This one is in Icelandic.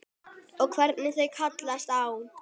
Og hvernig þau kallast á.